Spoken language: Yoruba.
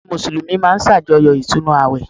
Àwọn Mùsùlùmí máa n sàjọyọ̀ Ìtúnu àwẹ̀